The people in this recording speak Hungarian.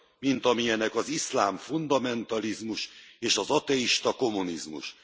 mint amilyenek az iszlám fundamentalizmus és az ateista kommunizmus.